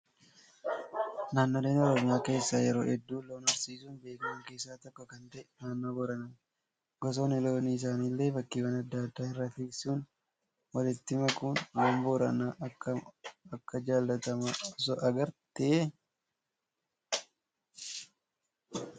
Naannooleen oromiyaa keessaa yeroo hedduu loon horsiisuun beekaman keessaa tokko kan ta'e naannoo booranaati. Gosoonni loonii isaanii illee bakkeewwan adda addaa irraa fisuun walitti makuuni. Loon Booranaa akkam Akka jaallatama osoo agartee